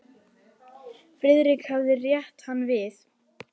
Friðrik hafði rétt hann við.